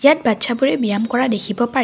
ইয়াত বাটচ্চা ব্যায়াম কৰা দেখিব পাৰি।